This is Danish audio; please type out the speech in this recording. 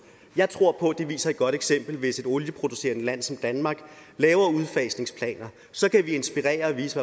jeg tror på at det viser et godt eksempel hvis et olieproducerende land som danmark laver udfasningsplaner så kan vi inspirere og vise